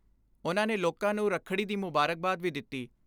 ਉਨ੍ਹਾਂ ਨੇ ਲੋਕਾਂ ਨੂੰ ਰੱਖੜੀ ਦੀ ਮੁਬਾਰਕਬਾਦ ਵੀ ਦਿੱਤੀ।